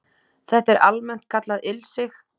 Þetta er almennt kallað ilsig